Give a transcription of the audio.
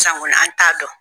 Sisan kɔni an t'a dɔn.